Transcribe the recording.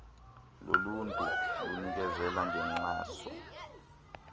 loluntu linikezela ngenkxaso